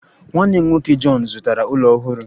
Nwanne m nwoke John zụtara ụlọ ọhụrụ